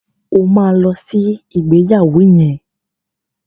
O ma lọ sí ìgbéyàwó yẹn!